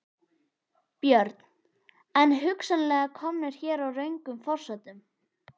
Björn: En hugsanlega komnir hér á röngum forsendum?